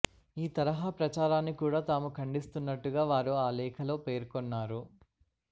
ఈ తరహ ప్రచారాన్ని కూడ తాము ఖండిస్తున్నట్టుగా వారు ఆ లేఖలో పేర్కొన్నారు